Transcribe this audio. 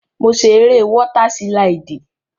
Mo ṣe eré wọ́tà sílídì